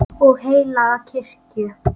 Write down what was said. og heilaga kirkju